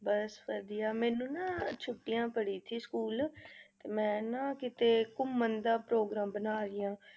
ਬਸ ਵਧੀਆ ਮੈਨੂੰ ਨਾ ਛੁੱਟੀਆਂ ਪੜੀ ਥੀ school ਤੇ ਮੈਂ ਨਾ ਕਿਤੇ ਘੁੰਮਣ ਦਾ ਪ੍ਰੋਗਰਾਮ ਬਣਾ ਰਹੀ ਹਾਂ